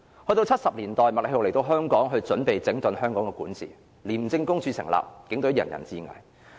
到1970年代，麥理浩來港準備整頓香港的管治，成立廉署，當年警隊人人自危。